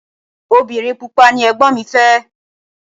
Obìnrin pupa ni Ẹ̀gbọ́n mi fẹ́.